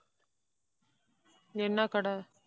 என்ன கடை?